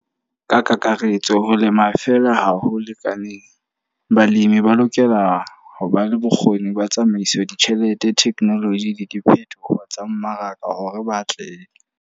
Ka kakaretso ho lema fela ha ho lekaneng. Balemi ba lokela ho ba le bokgoni ba tsamaisa ditjhelete, technology le diphethoho tsa mmaraka hore ba atlehe.